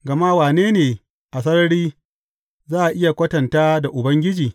Gama wane ne a sarari za a iya kwatanta da Ubangiji?